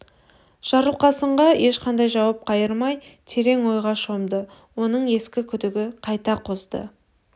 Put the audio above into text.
жарылқасынға ешқандай жауап қайырмай терең ойға шомды оның ескі күдігі қайта қозды